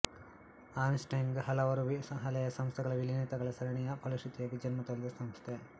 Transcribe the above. Ernst Young ಹಲವಾರು ಹಳೆಯ ಸಂಸ್ಥೆಗಳ ವಿಲೀನತೆಗಳ ಸರಣಿಯ ಫಲಶೃತಿಯಾಗಿ ಜನ್ಮತಳೆದ ಸಂಸ್ಥೆ